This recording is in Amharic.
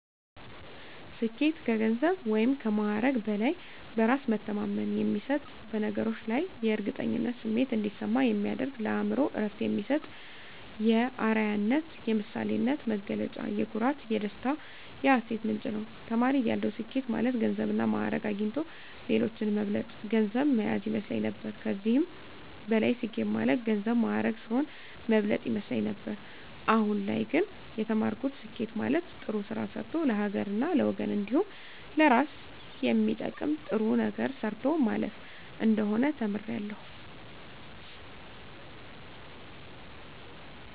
ስኬት ከገንዘብ ወይም ከማዕረግ በላይ በእራስ መተማመን የሚሰጥ በነገሮች ላይ የእርግጠኝነት ስሜት እንዲሰማ የሚያደርግ ለአእምሮ እረፍት የሚሰጥ የአረያነት የምሳሌነት መገለጫ የኩራት የደስታ የሀሴት ምንጭ ነዉ። ተማሪ እያለሁ ስኬት ማለት ገንዘብና ማእረግ አግኝቶ ሌሎችን መብለጥ ገንዘብ ማያዝ ይመስለኝ ነበር ከዚህም በላይ ስኬት ማለት ገንዘብ ማእረግ ሰዉን መብለጥ ይመስለኝ ነበር አሁን ላይ ግን የተማርኩት ስኬት ማለት ጥሩ ስራ ሰርቶ ለሀገርና ለወገን እንዲሁም ለእራስ የሚጠቅም ጥሩ ነገር ሰርቶ ማለፍ እንደሆነ ተምሬያለሁ።